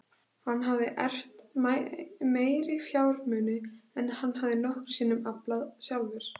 Hann hafði erft meiri fjármuni en hann hafði nokkru sinni aflað sjálfur.